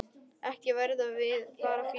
Ekki verðum við bara fjögur?